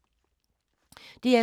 DR2